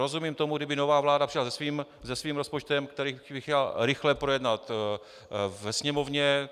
Rozumím tomu, kdyby nová vláda přišla se svým rozpočtem, který by chtěla rychle projednat ve Sněmovně.